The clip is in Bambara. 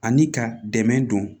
Ani ka dɛmɛ don